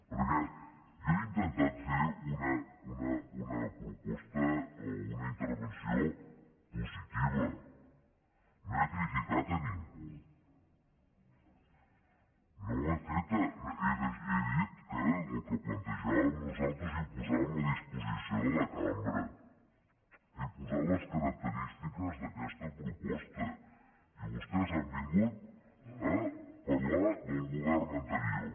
perquè jo he intentat fer una proposta o una intervenció positiva no he criticat a ningú he dit el que plantejàvem nosaltres i ho posàvem a disposició de la cambra he posat les característiques d’aquesta proposta i vostès han vingut a parlar del govern anterior